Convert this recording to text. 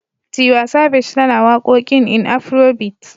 Tiwa Savage tana wakoƙin in Afrobeat.